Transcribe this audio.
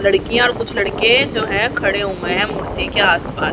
लड़कियां कुछ लड़के जो हैं खड़े हुए हैं मूर्ति के आस पास।